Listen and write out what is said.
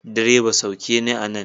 Direba, sauke ni a nan!